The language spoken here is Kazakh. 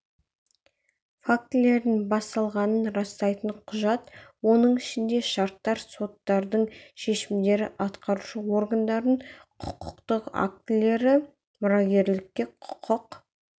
фактілердің басталғанын растайтын құжат оның ішінде шарттар соттардың шешімдері атқарушы органдардың құқықтық актілері мұрагерлікке құқық